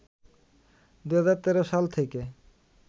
২০১৩ সাল থেকে